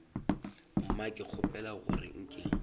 mma ke kgopela gore nke